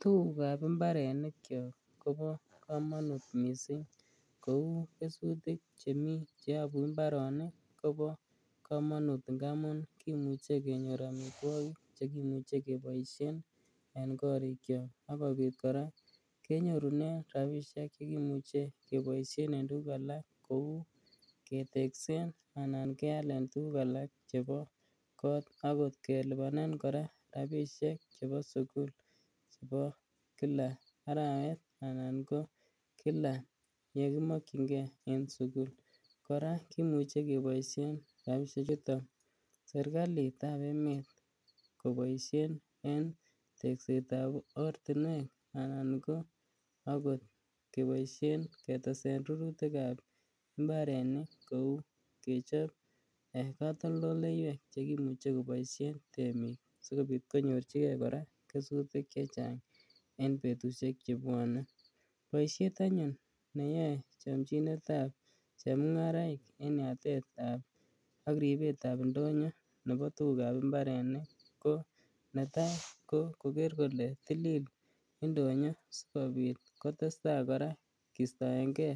Tugukab imbarenikyok kobo kamanut mising kou kesutik chemi che yabu imbarenik kobo kamanut ngamun kimuche kenyor amitwogik chekimuche keboisien en korikyok ak kopit kora kenyorune rapisiek chekimuche keboisien en tuguk alak kou keteksen anan kealen tuguk alak chebokot agot kelubanen kora rapisiek chebo sugul ko kila arawet anan ko kila yekimakyinge en sugul. Kora kimuche keboisien rapisiechuton serkalitab emet koboisien en tekset ab ortinuek anan ogot keboisien ketesen rurutikab imbarenik kou kicher katoldoleiywek chekimuche keboisien temik sigobit konyorchige kora kesutik che chang en betusiek chebwone. Boisiet anyun neyoe chomchinetab chemungaraik en yatetab ak ribetab indonyo nebo tugukab imbarenik ko netai ko koger kole tilil indonyo sigobit kotesta kora kiistoenge